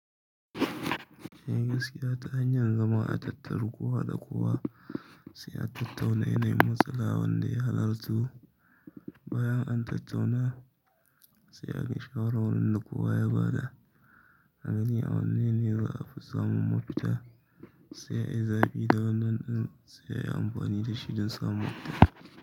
Eh gaskiya ta hanyar zama a tattari kowa da kowa sai a tattauna yana yin matsala wanda ya halarto. Bayan an tattauna sai a bi shawaran wanda kowa ya ba da a gani wani ne za a fi samun mafita sai a yi zaɓi da wannan in sai a yi amfani da shi don samun mafita.